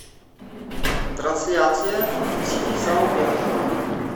трансляция сити и саутгемптона